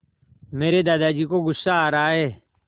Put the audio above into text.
मेरे दादाजी को गुस्सा आ रहा है